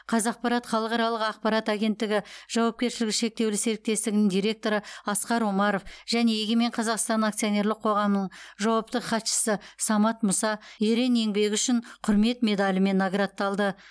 қазақпарат халықаралық ақпарат агенттігі жауапкершілігі шектеулі серіктестігінің директоры асқар омаров және егемен қазақстан акционерлік қоғамының жауапты хатшысы самат мұса ерен еңбегі үшін құрмет медалімен наградталды